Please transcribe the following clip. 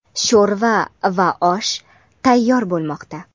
sho‘rva va osh tayyor bo‘lmoqda.